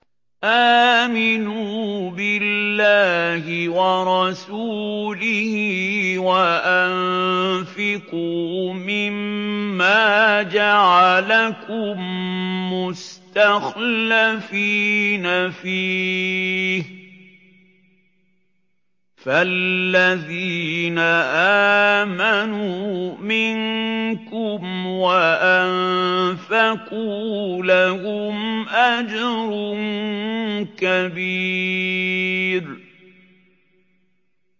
آمِنُوا بِاللَّهِ وَرَسُولِهِ وَأَنفِقُوا مِمَّا جَعَلَكُم مُّسْتَخْلَفِينَ فِيهِ ۖ فَالَّذِينَ آمَنُوا مِنكُمْ وَأَنفَقُوا لَهُمْ أَجْرٌ كَبِيرٌ